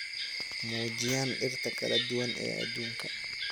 muujiyaan dhirta kala duwan ee adduunka